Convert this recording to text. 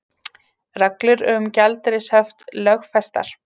Reglur um gjaldeyrishöft lögfestar